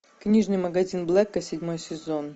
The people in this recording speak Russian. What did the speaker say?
книжный магазин блэка седьмой сезон